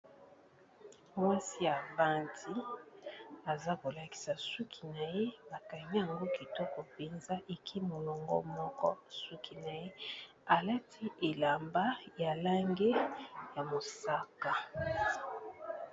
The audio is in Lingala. Mwasi avandi aza ko lakisa suki na ye, ba kangi yango kitoko penza eke molongo moko suki na ye alati elamba ya langi ya mosaka.